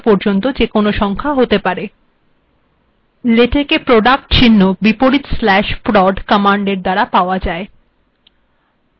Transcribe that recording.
লেটেকে product বা গুণচিহ্ন লেখা যায়